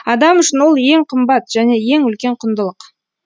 адам үшін ол ең қымбат және ең үлкен құндылық